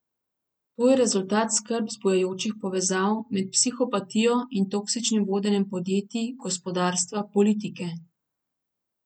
To je rezultat skrb zbujajočih povezav med psihopatijo in toksičnim vodenjem podjetij, gospodarstva, politike.